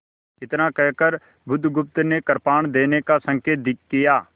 इतना कहकर बुधगुप्त ने कृपाण देने का संकेत किया